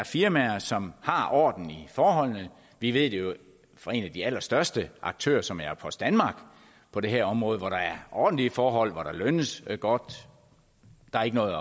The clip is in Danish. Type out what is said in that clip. firmaer som har orden i forholdene vi ved det jo fra en af de allerstørste aktører som er post danmark på det her område hvor der er ordentlige forhold hvor der lønnes godt der er ikke noget